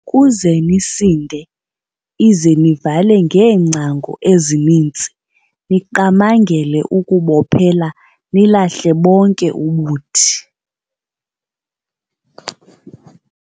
Ukuze nisinde ize nivale ngeengcango ezininzi, niqamangele ukubophelela nilahle bonke ubuthi."